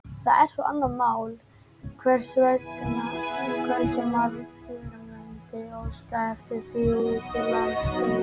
Það er svo annað mál, hversu margir mundu óska eftir því úti um landsbyggðina.